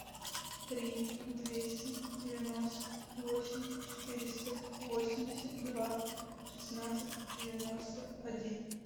три двести девяносто восемь четыреста восемьдесят два шестнадцать девяносто один